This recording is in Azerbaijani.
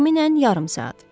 Təxminən yarım saat.